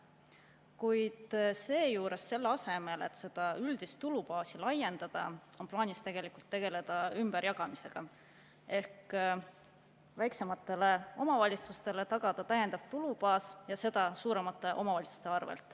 Kuid seejuures, selle asemel et seda üldist tulubaasi laiendada, on plaanis tegelikult tegeleda ümberjagamisega ehk väiksematele omavalitsustele tagada täiendav tulubaas ja teha seda suuremate omavalitsuste arvel.